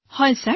হয় ছাৰ